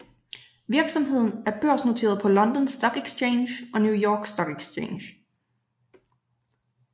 Virksomheden er børsnoteret på London Stock Exchange og New York Stock Exchange